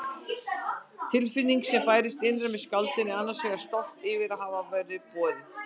Tilfinningin sem bærist innra með skáldinu er annars vegar stolt yfir að hafa verið boðið.